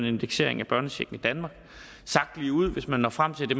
indeksering af børnechecken i danmark sagt ligeud hvis man når frem til at det